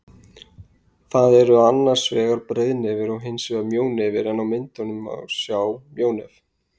Það eru annars vegar breiðnefir og hins vegar mjónefir en á myndinni má sjá mjónef.